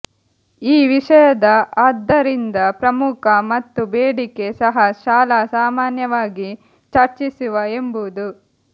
ಈ ವಿಷಯದ ಆದ್ದರಿಂದ ಪ್ರಮುಖ ಮತ್ತು ಬೇಡಿಕೆ ಸಹ ಶಾಲಾ ಸಾಮಾನ್ಯವಾಗಿ ಚರ್ಚಿಸುವ ಎಂಬುದು